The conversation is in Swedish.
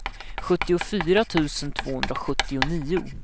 sjuttiofyra tusen tvåhundrasjuttionio